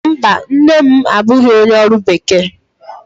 Mba, nne m abụghị onye ọrụ bekee